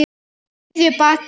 Á miðju baki.